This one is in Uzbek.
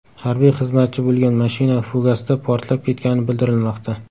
Harbiy xizmatchi bo‘lgan mashina fugasda portlab ketgani bildirilmoqda.